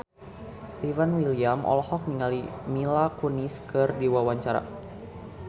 Stefan William olohok ningali Mila Kunis keur diwawancara